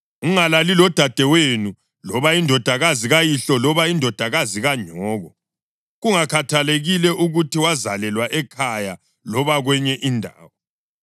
Ungalali lodadewenu, loba indodakazi kayihlo loba indodakazi kanyoko, kungakhathalekile ukuthi wazalelwa ekhaya loba kwenye indawo.